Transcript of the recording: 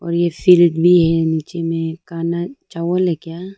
और ये भी है ये में कनक चावल है क्या।